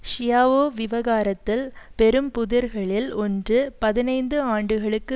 Schiavo விவகாரத்தில் பெரும்புதிர்களில் ஒன்று பதினைந்து ஆண்டுகளுக்கு